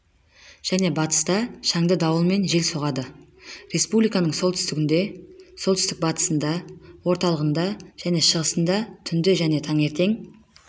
және батыста шаңды дауылмен жел соғады республиканың солтүстігінде солтүстік-батысында орталығында және шығысында түнде және таңертең